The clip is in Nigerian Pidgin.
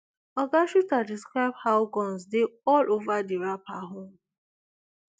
oga shuter describe how guns dey all ova di rapper home